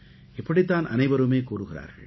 இப்படித்தான் அனைவருமே கூறுகிறார்கள்